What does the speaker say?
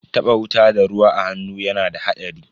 Taba wuta da ruwa a hannu yana da hadari.